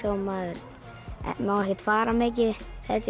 maður má ekkert fara mikið þetta er